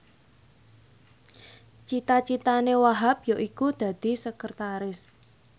cita citane Wahhab yaiku dadi sekretaris